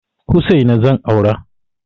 Hussaina zan aura.